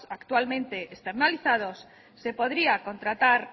actualmente externalizados se podría contratar